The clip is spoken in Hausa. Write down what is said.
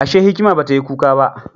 Ashe, hikima ba ta yi kuka ba?